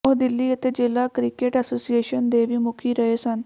ਉਹ ਦਿੱਲੀ ਅਤੇ ਜ਼ਿਲ੍ਹਾ ਕ੍ਰਿਕਟ ਐਸੋਸੀਏਸ਼ਨ ਦੇ ਵੀ ਮੁਖੀ ਰਹੇ ਸਨ